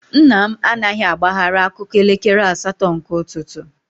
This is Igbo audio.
Nna m anaghị agbaghara akụkọ elekere asatọ nke ụtụtụ.